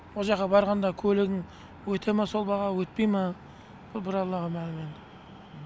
ол жаққа барғанда көлігің өте ма сол бағаға өтпей ма бұл бір аллаға ғана мәлім